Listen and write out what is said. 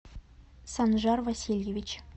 санжар васильевич